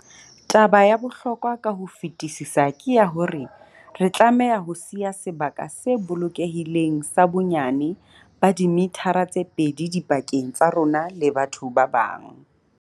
Taba ya bohlokwa ka ho fetisisa ke ya hore re tlameha ho siya sebaka se bolokehileng sa bonyane ba dimithara tse pedi dipakeng tsa rona le batho ba bang.